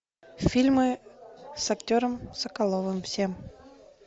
фильмы с актером соколовым все